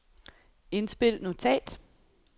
indspil notat